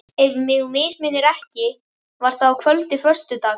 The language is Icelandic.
Ef mig misminnir ekki, var það að kvöldi föstudags.